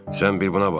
Sən bir buna bax.